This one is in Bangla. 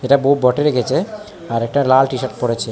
একটা বৌ-বটে রেখেছে আর একটা লাল টি শার্ট পড়া ছে--